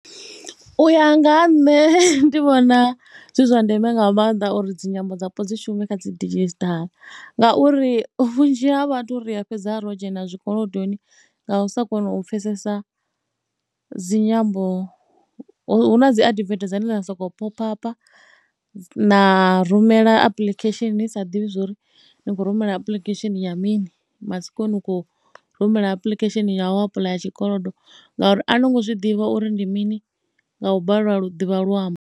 U ya nga ha nṋe ndi vhona zwi zwa ndeme nga maanḓa uri dzi nyambo dzapo dzi shume kha dzi digital ngauri vhunzhi ha vhathu ri ya fhedzi ro dzhena zwikolodoni nga u sa kona u pfhesesa dzi nyambo. Hu na dzi adivethe dzine dza sokou pop-up na rumela apuḽikhesheni ni sa ḓivhi zwo ri ni khou rumela apuḽikhesheni ya mini matsiko ni khou rumela apulikhesheni ya u apuḽaya tshikolodo ngauri a no ngo zwi ḓivha uri ndi mini nga u balelwa u ḓivha luambo.